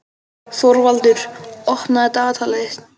Þorvaldur, opnaðu dagatalið mitt.